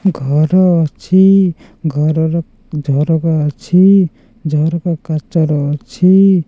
ଘର ଅଛି ଘରର ଝରକା ଅଛି ଝରକା କାଚର ଅଛି।